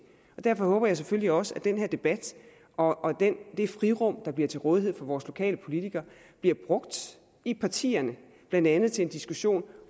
og derfor håber jeg selvfølgelig også at den her debat og det frirum der bliver til rådighed for vores lokale politikere bliver brugt i partierne blandt andet til en diskussion